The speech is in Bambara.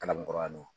Kalabankɔrɔ